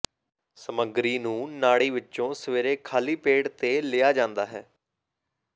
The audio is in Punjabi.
ਸਮੱਗਰੀ ਨੂੰ ਨਾੜੀ ਵਿੱਚੋਂ ਸਵੇਰੇ ਖਾਲੀ ਪੇਟ ਤੇ ਲਿਆ ਜਾਂਦਾ ਹੈ